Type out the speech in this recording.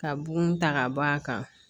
Ka bugun ta k'a d'a kan